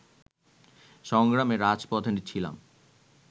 সংগ্রামে রাজপথে ছিলাম